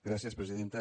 gràcies presidenta